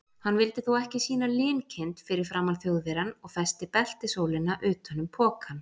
Hann vildi þó ekki sýna linkind fyrir framan Þjóðverjann og festi beltisólina utan um pokann.